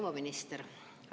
Proua minister!